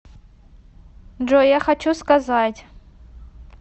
джой я хочу сказать